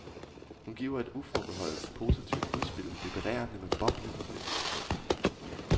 Hun giver et uforbeholdent positivt udspil vibrerende med boblende glædessignaler.